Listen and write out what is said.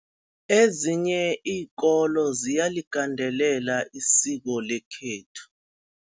Ezinye iinkolo ziyaligandelela isiko lekhethu.